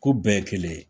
Ko bɛɛ ye kelen ye